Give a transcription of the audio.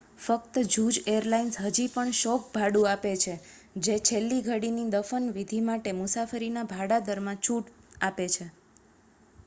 ફક્ત જૂજ એરલાઇન્સ હજી પણ શોક ભાડું આપે છે જે છેલ્લી ઘડીની દફન વિધિ માટે મુસાફરીના ભાડા દરમાં છૂટ આપે છે